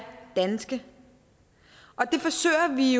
danske det forsøger vi